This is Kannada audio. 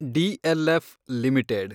DLF limited